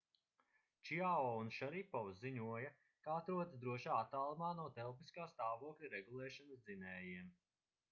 čiao un šaripovs ziņoja ka atrodas drošā attālumā no telpiskā stāvokļa regulēšanas dzinējiem